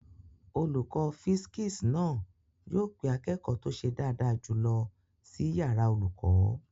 Olùkọ́ físìksì náà yóò pe akẹ́kọ̀ọ́ tó ṣe dáadáa jùlọ sí yàrá olùkọ́